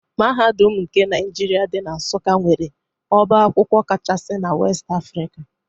Mahadum nke Naijiria dị na Nsụka nwere ọbá akwụkwọ kachaasi na West Africa.